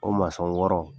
O wɔɔrɔ